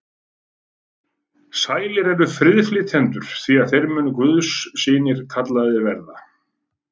Sælir eru friðflytjendur, því að þeir munu guðs synir kallaðir verða.